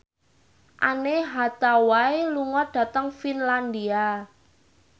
Anne Hathaway lunga dhateng Finlandia